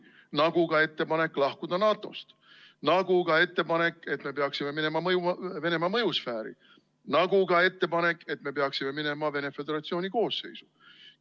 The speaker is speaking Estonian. Nagu ka ettepanek lahkuda NATO-st, nagu ka ettepanek, et me peaksime minema Venemaa mõjusfääri, nagu ka ettepanek, et me peaksime minema Venemaa Föderatsiooni koosseisu.